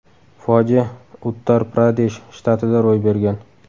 Fojia Uttar-Pradesh shtatida ro‘y bergan.